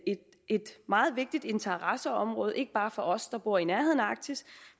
et meget vigtigt interesseområde ikke bare for os der bor i nærheden af arktis